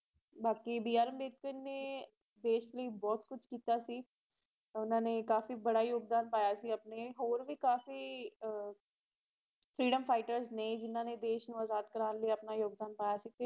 ਬਾਕੀ ਬੀ ਆਰ ਅੰਬੇਡਕਰ ਨੇ ਦੇਸ਼ ਲਈ ਬਹੁਤ ਕੁਝ ਕੀਤਾ ਸੀ ਓਹਨਾ ਨੇ ਕਾਫੀ ਬੜਾ ਯੋਗਦਾਨ ਪਾਇਆ ਸੀ ਆਪਣਾ ਹੋਰ ਵੀ ਕਾਫੀ freeedom fighters ਨੇ ਜਿੰਨਾ ਨੇ ਦੇਸ਼ ਨੂੰ ਅਜ਼ਾਦ ਕਰਵਾਉਣ ਲਈ ਆਪਣਾ ਯੋਗਦਾਨ ਪਾਇਆ ਸੀ ਤੇ